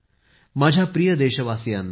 माझ्या प्रिय देशवासियांनो